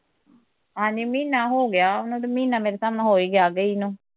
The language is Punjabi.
ਹਾਂਜੀ ਮਹੀਨਾ ਹੋਗਿਆ, ਉਹਨੂੰ ਤੇ ਮਹੀਨਾ ਮੇਰੇ ਹਿਸਾਬ ਨਾਲ਼ ਹੋ ਈ ਗਿਆ ਗਈ ਨੂੰ